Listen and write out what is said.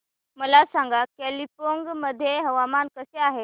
मला सांगा कालिंपोंग मध्ये हवामान कसे आहे